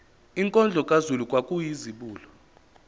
inkondlo kazulu kwakuyizibulo